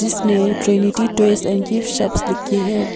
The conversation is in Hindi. इसमें Trinity toy and gift shop लिखी है।